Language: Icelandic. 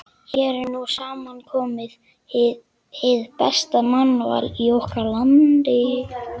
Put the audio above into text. Hér er nú samankomið hið besta mannval í okkar landi.